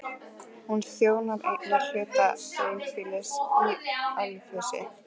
Hún þjónar einnig hluta dreifbýlis í Ölfusi